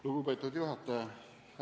Lugupeetud juhataja!